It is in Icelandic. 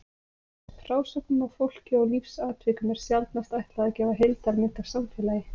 Frásögnum af fólki og lífsatvikum er sjaldnast ætlað að gefa heildarmynd af samfélagi.